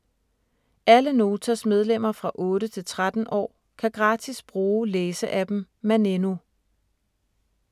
Alle Notas medlemmer fra 8-13 år kan gratis bruge læse-appen Maneno.